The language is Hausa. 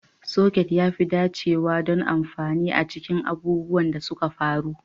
Soket ya fi dacewa don amfani a cikin abubuwan da suka faru.